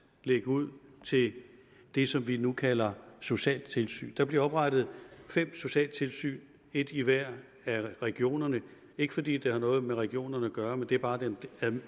lægge ud til det som vi nu kalder socialtilsyn der bliver oprettet fem socialtilsyn et i hver af regionerne ikke fordi det har noget med regionerne at gøre men det er bare den